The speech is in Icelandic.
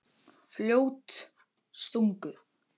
Fljótstungu